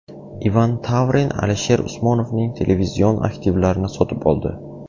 Ivan Tavrin Alisher Usmonovning televizion aktivlarini sotib oldi.